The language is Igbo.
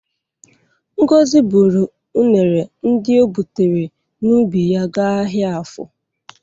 Ngozi bụrụ unere ndị o gbutere n'ubi ya ga ahịa afọ.